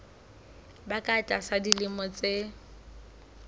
ba ka tlasa dilemo tse